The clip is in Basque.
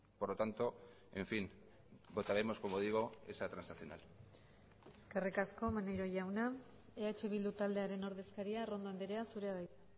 por lo tanto en fin votaremos como digo esa transaccional eskerrik asko maneiro jauna eh bildu taldearen ordezkaria arrondo andrea zurea da hitza